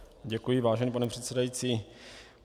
Děkuji, vážený pane předsedající.